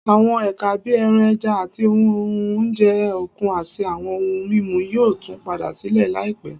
Àwọn ẹ̀ka bí ẹran, ẹja, àti oúnjẹ òkun, àti àwọn ohun mímu, yóò tún padà sílé láìpẹ́